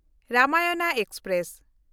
Ramayan express